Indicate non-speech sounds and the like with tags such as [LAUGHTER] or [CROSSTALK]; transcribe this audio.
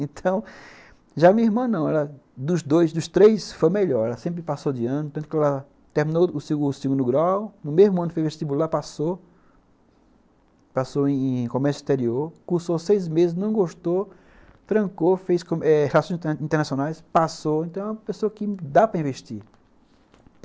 [LAUGHS] Então, já minha irmã não, ela dos dois, dos três, foi a melhor, ela sempre passou de ano, tanto que ela terminou o segundo grau, no mesmo ano fez vestibular, passou, passou em em comércio exterior, cursou seis meses, não gostou, trancou, fez relações internacionais, passou, então é uma pessoa que dá para investir.